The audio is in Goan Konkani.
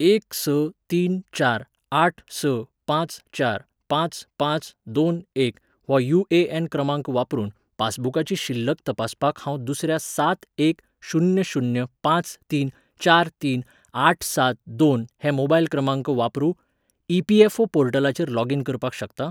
एक स तीन चार आठ स पांच चार पांच पांच दोन एक हो यू.ए.एन. क्रमांक वापरून पासबुकाची शिल्लक तपासपाक हांव दुसऱ्या सात एक शुन्य शुन्य पांचं तीन चार तीन आठ सात दोन हे मोबायल क्रमांक वापरू ई.पी.एफ.ओ. पोर्टलाचेर लॉगिन करपाक शकतां?